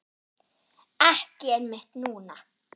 Ekki einmitt núna.